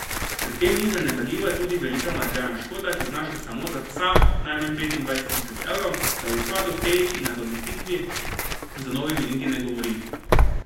Pri tem ni zanemarljiva tudi velika materialna škoda, ki znaša samo za psa najmanj petindvajset tisoč evrov, da o izpadu teh in nadomestitvi z novimi niti ne govorim.